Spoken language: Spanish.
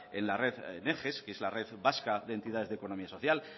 en la red eges que es la red vasca de entidades de economía social